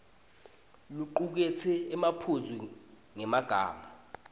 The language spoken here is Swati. locuketse emaphuzu ngemagama